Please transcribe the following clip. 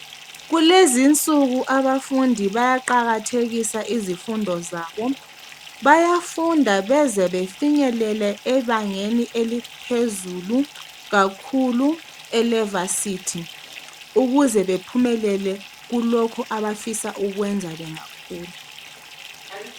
Kulezi insuku abafundi bayaqakathekisa izimfundo zabo, bayafunda beze befinyelele ebangeni eliphezulu kakhulu elevarsity ukuze bephumelele kulokho abafisa ukukwenza bengakhula.